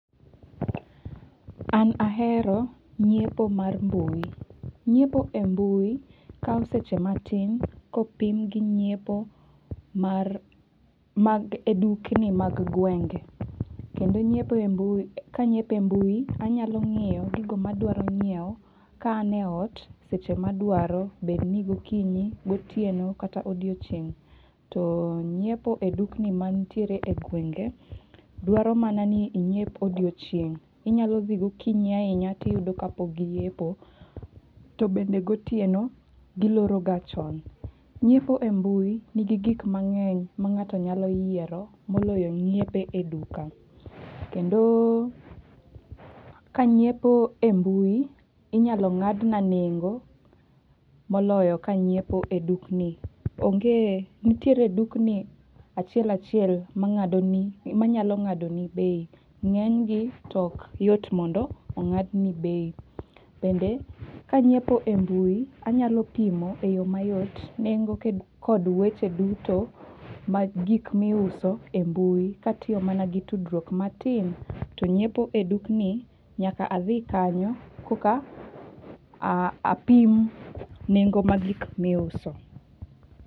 An ahero nyiepo mar mbui. Nyiepo e mbui kao seche matin kopim gi nyiepo mar mag edukni mag gwenge. Kendo nyiepo e mbui, kanyiepo e mbui anyalo nyiewo gigo madwaro nyiewo ka an e ot, seche ma adwaro, bedni gokinyi, gotieno kata odiochieng'. To nyiepo e dukni mantiere e gwenge, dwaro mana ni inyiep odiochieng'. Inyalo dhi gokinyi ahinya tiyudo ka pok giyepo. To bende gotieno, giloro ga chon. Nyiepo e mbui nigi gik mang'eny ma ng'ato nyalo yiero moloyo nyiepo e duka. Kendo, kanyiepo e mbui inyalo ng'adna nengo moloyo kanyiepo e dukni. Onge, nitiere dukni achiel achiel mang'ado ni manyalo ng'ado ni bei. Ng'enygi to okyot mondo ong'ad ni bei. Bende, kanyiepo e mbui anyalo pimo e yo mayot nengo kod weche duto mag gik miuso e mbui katiyo mana gi tudruok matin. To nyiepo e dukni, nyaka adhi kanyo koka apim nengo mag gik miuso.